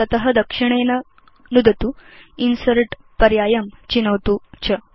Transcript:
तत दक्षिणेन नुदतु इन्सर्ट् पर्यायं चिनोतु च